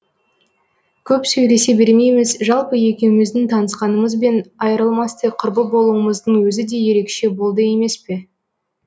көп сөйлесе бермейміз жалпы екеуміздің танысқанымыз бен айырылмастай құрбы болуымыздың өзі де ерекше болды емес пе